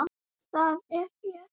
Það er hér.